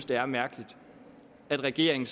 det er mærkeligt at regeringen